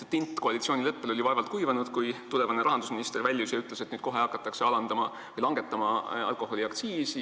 Tint koalitsioonileppel oli vaevalt kuivanud, kui tulevane rahandusminister väljus hoonest ja ütles, et nüüd kohe hakatakse langetama alkoholiaktsiisi.